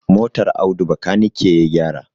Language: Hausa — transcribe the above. Motar Audu bakanike ya gyara.